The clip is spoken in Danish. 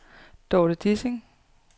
Dorte Dissing